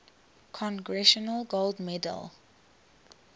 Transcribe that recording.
congressional gold medal